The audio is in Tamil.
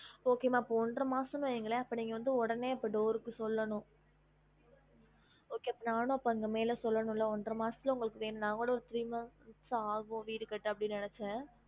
Okay மா அப்ப ஒன்றை மாசம்னு வைங்கலேன் அப்ப நீங்க வந்து அப்ப உடனே door சொல்லணும் okay அப்ப நானும் அப்ப மேல சொல்லனும்ல ஒன்ற மாசத்துல உங்களுக்கு வேணும் நா நான் கூட ஒரு three month ஆகும் வீடு கட்ட அப்படினு நினச்சேன்